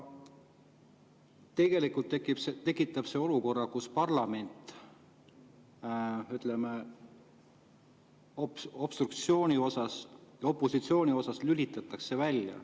See tekitab olukorra, kus parlamendi, ütleme, opositsiooni osa lülitatakse välja.